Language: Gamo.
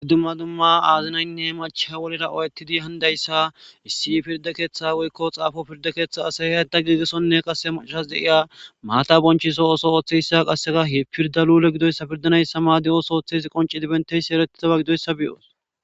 Iddumma dumma aazinaynne macha wolera owetidi handayssa issi pirda keeththa wolkko xaafo pirda keeththa asaya da giigesonne qase machas de'iya maata bonchiso oso ooththeyssa qasseka he pirda lule gidoyssa pirdanayssa ma di'os ooththesi qonce dibenteysi eretidaba gidoyssa biyos.